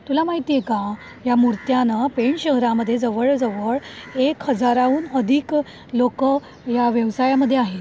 तुला माहिती़ये का, या मुर्त्या ना ,पेण शहरामध्ये जवळ जवळ एक हजाराहून अधिक लोकं या व्यवसायामध्ये आहेत.